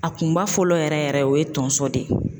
A kunba fɔlɔ yɛrɛ yɛrɛ o ye tonso de ye